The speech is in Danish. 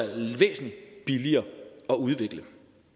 væsentlig billigere at udvikle